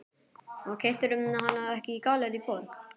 Keyptirðu hana ekki í Gallerí Borg?